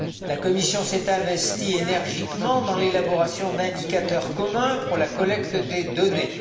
La Commission s'est investie énergiquement dans l'élaboration d'indicateurs communs pour la collecte des données.